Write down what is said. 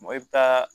i bɛ taa